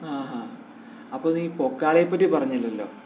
അഹ് ഹാ... അപ്പോ നീ പൊക്കാളിയെ പറ്റി പറഞ്ഞില്ലല്ലോ